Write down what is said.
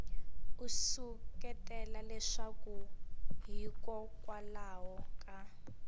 u seketela leswaku hikokwalaho ka